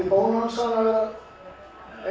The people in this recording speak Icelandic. að vera